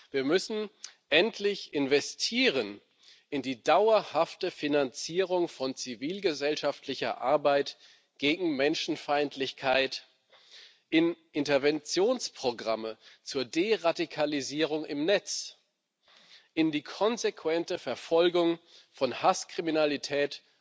Wir müssen endlich in die dauerhafte Finanzierung von zivilgesellschaftlicher Arbeit gegen Menschenfeindlichkeit, in Interventionsprogramme zur Deradikalisierung im Netz, in die konsequente Verfolgung von Hasskriminalität